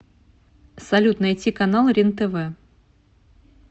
салют найти канал рентв